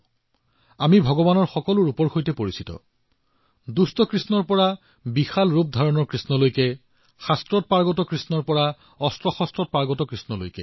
আমি ঈশ্বৰৰ সকলো ধৰণৰ ৰূপৰ সৈতে পৰিচিত দুষ্ট কানহাইয়াৰ পৰা বিৰাট ৰূপধাৰী কৃষ্ণলৈ শাস্ত্ৰৰ শক্তিৰ পৰা অস্ত্ৰৰ শক্তিযুক্ত কৃষ্ণলৈ